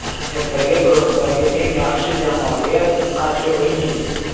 Ertaga guruhdagi eng yaxshi jamoaga qarshi o‘ynaymiz.